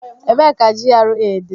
Ebee ka GRA dị?